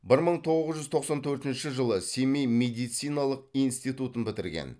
бір мың тоғыз жүз тоқсан төртінші жылы семей медициналық институтын бітірген